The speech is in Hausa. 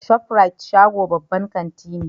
Shof rite shago babban kanti ne.